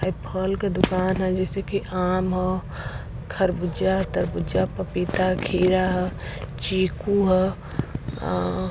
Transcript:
ये फल की दुकान है जैसे कि आम ह खरबूजा तरबूजा पपीता खीरा ह चीकू ह अँ --